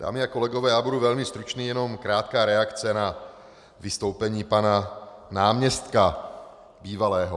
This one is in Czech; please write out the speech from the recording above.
Dámy a kolegové, já budu velmi stručný, jenom krátká reakce na vystoupení pana náměstka, bývalého.